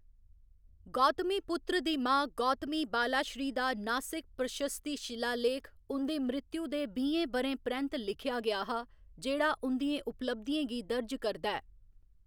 गौतमीपुत्र दी मां गौतमी बालाश्री दा नासिक प्रशस्ति शिलालेख, उं'दी मृतु दे बीहें ब'रें परैंत्त लिखेआ गेआ हा जेह्‌‌ड़ा उं'दियें उपलब्धियें गी दर्ज करदा ऐ।